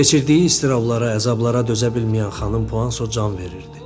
Keçirdiyi istirablara, əzablara dözə bilməyən xanım Puanso can verirdi.